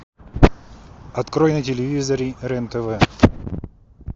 открой на телевизоре рен тв